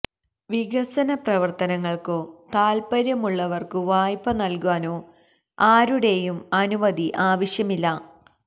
വികസന പ്രവര്ത്തനങ്ങള്ക്കോ താല്പര്യമുള്ളവര്ക്കു വായ്പ നല്കാനോ ആരുടെയും അനുമതി ആവശ്യമില്ല